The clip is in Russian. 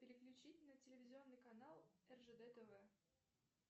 переключить на телевизионный канал ржд тв